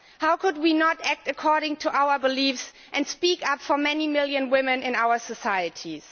How could we not act according to our beliefs and speak up for many millions of women in our societies?